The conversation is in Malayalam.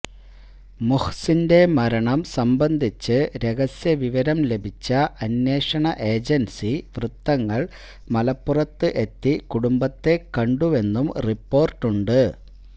മുഹ്സിന്റെ മരണം സംബന്ധിച്ച് രഹസ്യ വിവരം ലഭിച്ച അന്വേഷണ ഏജന്സി വൃത്തങ്ങള് മലപ്പുറത്ത് എത്തി കുടുംബത്തെ കണ്ടുവെന്നും റിപ്പോര്ട്ടുണ്ട്